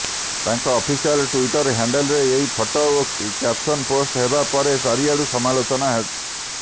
ତାଙ୍କ official Twitter ହ୍ୟାଣ୍ଡେଲରେ ଏହି ଫଟୋ ଓ କ୍ୟାପସନ୍ ପୋଷ୍ଟ ହେବା ପରେ ଚାରିଆଡୁ ସମାଲୋଚନା